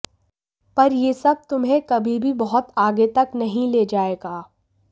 पर ये सब तुम्हें कभी भी बहुत आगे तक नहीं ले जायेगा